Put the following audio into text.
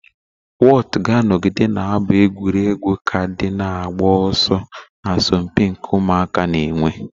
Whotu ga-anọgide na-abụ egwuregwu kaadị na-agba ọsọ na asọmpi nke ụmụaka na-enwe.